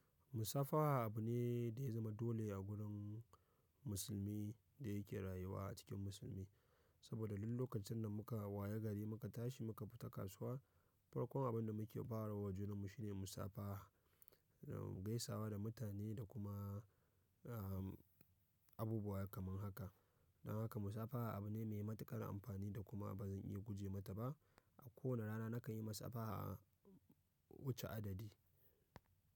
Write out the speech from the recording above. Musafaha abu ne da ya zama dole a gurin musulmi da yake rayuwa a cikin musulmi. Saboda duk lokacin da muka waye gari muka tashi muka fita kasuwa, farkon abin da muke bawa wajen mu shine musafaha, gaisawa da mutane da kuma, ah, abubuwa kamar haka. Don haka musafaha abu ne mai matuƙar amfani da kuma ba zan iya guje mata ba. A kowane rana nakan yi musafaha wuce adadi.